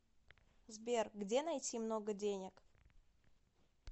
сбер где найти много денег